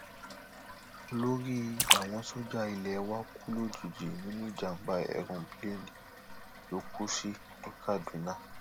olórí àwọn sójà ilé wa kú lójijì nínú ìjàmàbá èròǹpilẹẹni ló kù sí ní kaduna